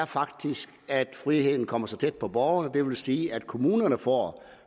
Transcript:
faktisk er at friheden kommer tæt på borgerne det vil sige at kommunerne får